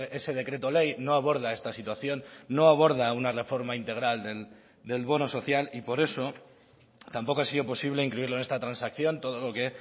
ese decreto ley no aborda esta situación no aborda una reforma integral del bono social y por eso tampoco ha sido posible incluirlo en esta transacción todo lo que